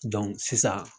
sisan